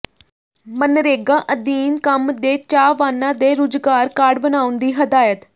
ਮਨਰੇਗਾ ਅਧੀਨ ਕੰਮ ਦੇ ਚਾਹਵਾਨਾਂ ਦੇ ਰੁਜ਼ਗਾਰ ਕਾਰਡ ਬਣਾਉਣ ਦੀ ਹਦਾਇਤ